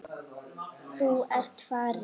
Þú ert farin.